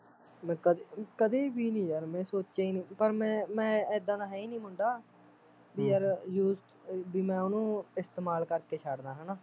ਮੈਂ ਕਦੇ ਕਦੇ ਵੀ ਨੀ ਯਾਰ ਸੋਚਿਆ ਈ ਨੀ ਪਰ ਮੈਂ ਮੈਂ ਇੱਦਾ ਦਾ ਹੈ ਈ ਨੀ ਮੁੰਡਾ ਵੀ ਯਾਰ use ਵੀ ਮੈਂ ਉਹਨੂੰ ਇਸਤੇਮਾਲ ਕਰ ਕੇ ਛੱਡਦਾ